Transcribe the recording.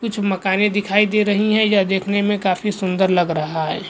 कुछ मकानें दिखाई दे रही हैं या देखने में काफी सुंदर लग रहा है।